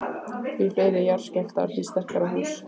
Því fleiri jarðskjálftar, því sterkari hús.